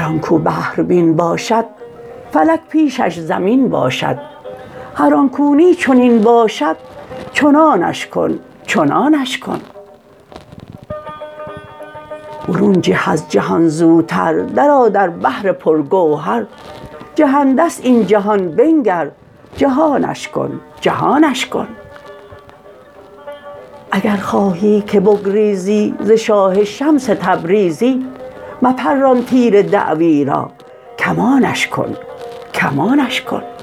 هر آن کو بحربین باشد فلک پیشش زمین باشد هر آن کو نی چنین باشد چنانش کن چنانش کن برون جه از جهان زوتر درآ در بحر پرگوهر جهنده ست این جهان بنگر جهانش کن جهانش کن اگر خواهی که بگریزی ز شاه شمس تبریزی مپران تیر دعوی را کمانش کن کمانش کن